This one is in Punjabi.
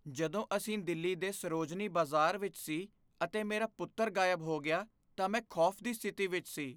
ਜਦੋਂ ਅਸੀਂ ਦਿੱਲੀ ਦੇ ਸਰੋਜਨੀ ਬਾਜ਼ਾਰ ਵਿੱਚ ਸੀ ਅਤੇ ਮੇਰਾ ਪੁੱਤਰ ਗਾਇਬ ਹੋ ਗਿਆ ਤਾਂ ਮੈਂ ਖੌਫ਼ ਦੀ ਸਥਿਤੀ ਵਿੱਚ ਸੀ।